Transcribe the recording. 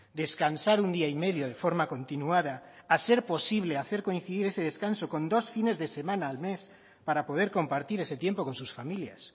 descansar un día y medio de forma continuada a ser posible hacer coincidir ese descanso con dos fines de semana al mes para poder compartir ese tiempo con sus familias